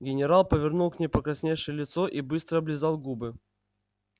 генерал повернул к ней покрасневшее лицо и быстро облизал губы